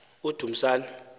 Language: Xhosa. udumisani